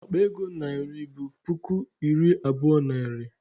Akpa ego narị bụ puku iri abụo naịra.